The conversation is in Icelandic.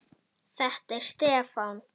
Þetta gat ekki gengið svona.